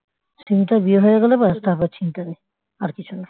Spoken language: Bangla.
সিমিটার বিয়ে হয়ে গেলে ব্যস্ তারপরে চিন্তা নেই আর কিছু না